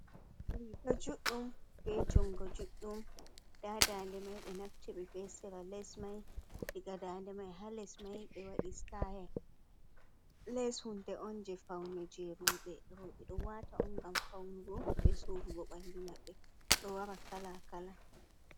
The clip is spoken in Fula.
Riiga juđđum beh jungo juđđum ndaa daande mai 6e naftiri be sera Les mai diga daande mai ha les mai 6e wadi stayel, Les hunde on jei faune rou6e, rou6e đo waata on ngam faunugo beh suurugo 6andu ma66e, đo wara kalaa kalaa.